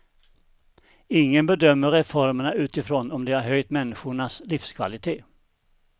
Ingen bedömer reformerna utifrån om de har höjt människornas livskvalité.